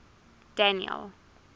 daniel